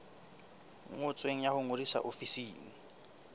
ngotsweng ya ho ngodisa ofising